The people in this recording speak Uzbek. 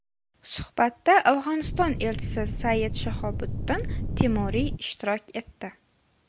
Suhbatda Afg‘oniston elchisi Sayid Shahobuddin Timuriy ishtirok etdi.